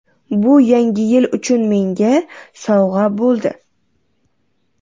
Bu Yangi yil uchun menga sovg‘a bo‘ldi.